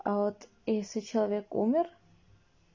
а вот если человек умер